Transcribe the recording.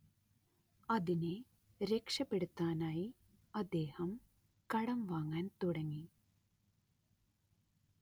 അതിനെ രക്ഷപെടുത്താനായി അദ്ദേഹം കടം വാങ്ങാൻ തുടങ്ങി